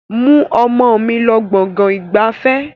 Mú ọmọ mi lọ gbọ̀ngàn ìgbafẹ́!